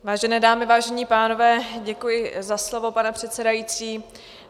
Vážené dámy, vážení pánové, děkuji za slovo, pane předsedající.